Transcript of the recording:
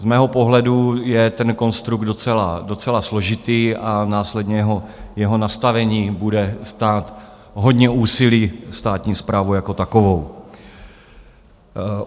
Z mého pohledu je ten konstrukt docela složitý a následně jeho nastavení bude stát hodně úsilí státní správu jako takovou.